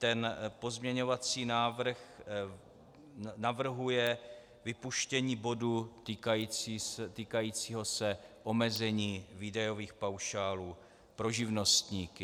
Tento pozměňovací návrh navrhuje vypuštění bodu týkajícího se omezení výdajových paušálů pro živnostníky.